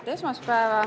Ilusat esmaspäeva!